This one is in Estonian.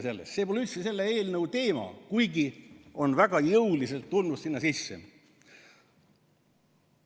See pole üldse selle eelnõu teema, kuigi on väga jõuliselt tulnud sinna sisse.